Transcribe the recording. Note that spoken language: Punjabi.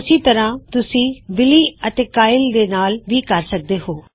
ਇਸਸੇ ਤਰ੍ਹਾ ਤੁਸੀਂ ਬਿਲੀ ਅਤੇ ਕਾਇਲ ਦੇ ਨਾਲ ਕਰ ਸਕਦੇ ਹੋਂ